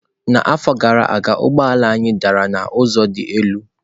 N'afọ gara aga ụgbọ ala anyị dara n'ụzọ dị elu.